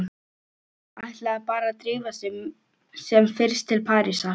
Ætlaði bara að drífa sig sem fyrst til Parísar.